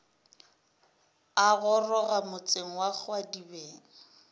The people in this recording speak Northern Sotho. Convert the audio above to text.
a goroga motseng wa kgwadibeng